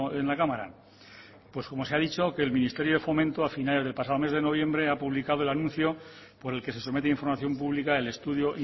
en la cámara pues como se ha dicho que el ministerio de fomento a finales del pasado mes de noviembre ha publicado el anuncio por el que se somete información pública del estudio